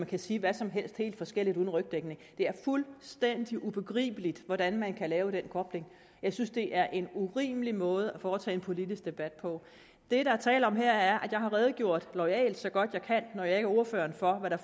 kan sige hvad som helst helt forskelligt uden rygdækning det er fuldstændig ubegribeligt hvordan man kan lave den kobling jeg synes det er en urimelig måde at foretage en politisk debat på det der er tale om her er at jeg har redegjort loyalt og så godt jeg kan når jeg ikke er ordfører for hvad der